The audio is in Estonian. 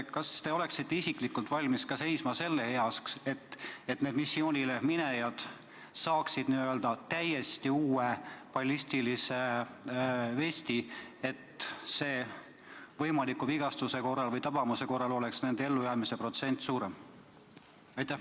Kas te oleksite isiklikult valmis seisma ka selle eest, et iga missioonile mineja saaks täiesti uue ballistilise vesti, nii et võimaliku vigastuse või tabamuse korral oleks ellujäämisprotsent suurem?